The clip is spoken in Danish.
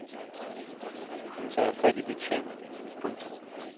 Hun tager fat i betjenten. punktum